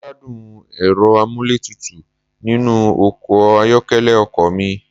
Mo gbádùn Ẹ̀rọ amúlétutù nínú ọkọ̀ ayọ́kẹ́lẹ́ ọkọ̀ mi.